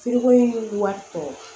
wari tɔ